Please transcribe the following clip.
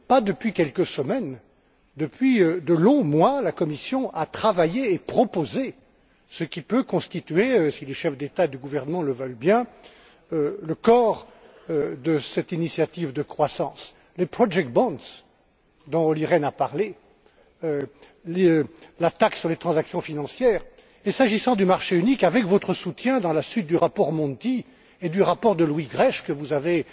Non pas depuis quelques semaines, mais depuis de longs mois, la Commission a travaillé et proposé ce qui peut constituer si les chefs d'État et de gouvernement le veulent bien le corps de cette initiative de croissance les project bonds dont Olli Rehn a parlé, la taxe sur les transactions financières, et, s'agissant du marché unique, avec votre soutien, dans la suite du rapport Monti et du rapport de Louis Grech que vous avez